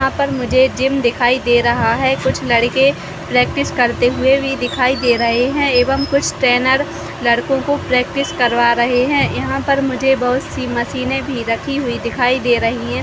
यहाँ पर मुझे जिम दिखाई दे रहा है कुछ लड़के प्रैक्टिस करते हुए भी दिखाई दे रहे है एवं ट्रेनर लड़को को प्रैक्टिस करवा रहे है यहाँ पर मुझे बहुत सी मशीने भी रखी हुई दिखाई दे रही है ।